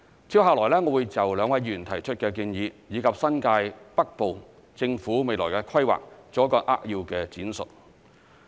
接下來，我會就兩位議員提出的建議，以及新界北部政府未來的規劃，作一個扼要的闡述。